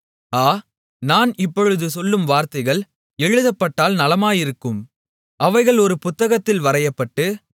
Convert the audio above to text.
ஆ நான் இப்பொழுது சொல்லும் வார்த்தைகள் எழுதப்பட்டால் நலமாயிருக்கும் அவைகள் ஒரு புத்தகத்தில் வரையப்பட்டு